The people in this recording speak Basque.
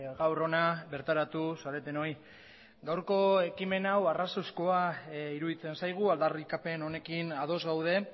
gaur hona bertaratu zaretenoi gaurko ekimen hau arrazoizkoa iruditzen zaigu aldarrikapen honekin ados gaude